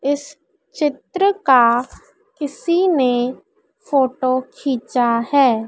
इस चित्र का किसी ने फोटो खींचा है।